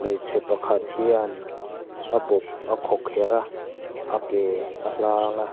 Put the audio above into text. hmeichhe pakhat hian a bawp a khawkherh a a ke a hlang a.